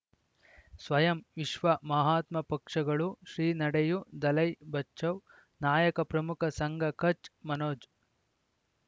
ಸ್ವಯಂ ವಿಶ್ವ ಮಹಾತ್ಮ ಪಕ್ಷಗಳು ಶ್ರೀ ನಡೆಯೂ ದಲೈ ಬಚೌ ನಾಯಕ ಪ್ರಮುಖ ಸಂಘ ಕಚ್ ಮನೋಜ್